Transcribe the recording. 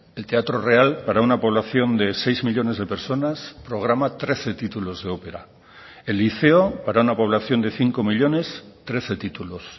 el teatro real para una población de seis millónes de personas programa trece títulos de ópera el liceo para una población de cinco millónes trece títulos